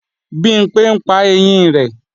Bimpé ńpa ẹyín rẹ̀